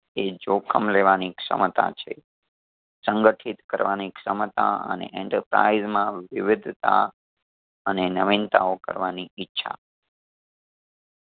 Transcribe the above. એ જોખમ લેવાની ક્ષમતા છે. સંગઠિત કરવાની ક્ષમતા અને enterprise માં વિવિધતા અને નવીનતાઓ કરવાની ઈચ્છા